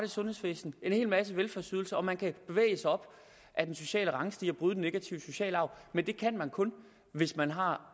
sundhedsvæsenet en hel masse velfærdsydelser og man kan bevæge sig op ad den sociale rangstige og bryde den negative sociale arv men det kan man kun hvis man har